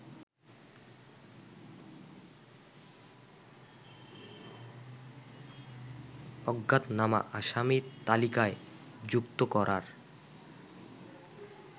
অজ্ঞাতনামা আসামির তালিকায় যুক্ত করার